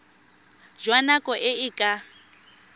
jwa nako e e ka